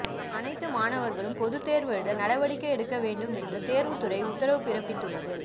அனைத்து மாணவர்களும் பொதுத்தேர்வெழுத நடவடிக்கை எடுக்க வேண்டும் என்றும் தேர்வுத்துறைஉத்தரவு பிறப்பித்துள்ளது